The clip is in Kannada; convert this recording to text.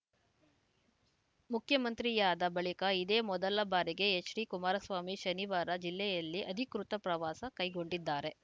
ಮುಖ್ಯಮಂತ್ರಿಯಾದ ಬಳಿಕ ಇದೇ ಮೊದಲ ಬಾರಿಗೆ ಎಚ್‌ಡಿಕುಮಾರಸ್ವಾಮಿ ಶನಿವಾರ ಜಿಲ್ಲೆಯಲ್ಲಿ ಅಧಿಕೃತ ಪ್ರವಾಸ ಕೈಗೊಂಡಿದ್ದಾರೆ